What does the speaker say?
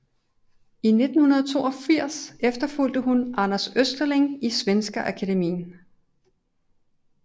I 1982 efterfulgte hun Anders Österling i Svenska Akademien